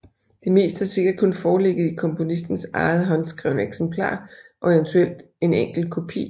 Det meste har sikkert kun foreligget i komponistens eget håndskrevne eksemplar og eventuelt en enkelt kopi